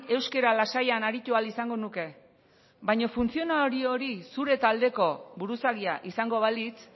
euskera lasaian aritu ahal izango nuke baina funtzionario zure taldeko buruzagia izango balitz